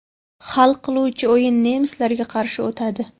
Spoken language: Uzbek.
Hal qiluvchi o‘yin nemislarga qarshi o‘tadi.